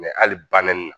hali banin na